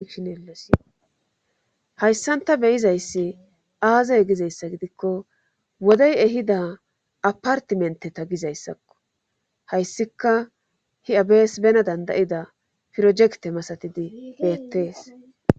hayssan ta beyizayssi aazey gizayssa gidikko wodey ehida apartimenteta gizayssakko hayssika hi7abees bena dandayida pirojekte masatidi beettees